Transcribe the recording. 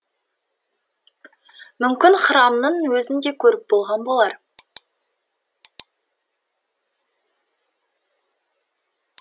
мүмкін храмның өзін де көріп болған болар